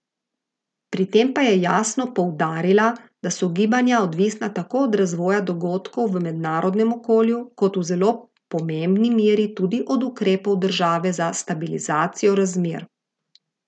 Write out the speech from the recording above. Pri tem pa je jasno poudarila, da so gibanja odvisna tako od razvoja dogodkov v mednarodnem okolju kot v zelo pomembni meri tudi od ukrepov države za stabilizacijo razmer.